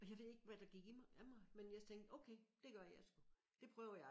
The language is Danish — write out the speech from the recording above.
Og jeg ved ikke hvad der gik i mig af mig men jeg tænkte okay det gør jeg sgu det prøver jeg